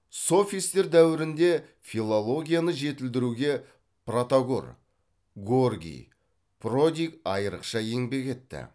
софистер дәуірінде филологияны жетілдіруге протагор горгий продик айрықша еңбек етті